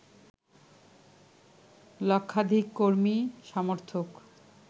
লক্ষাধিক কর্মী-সমর্থক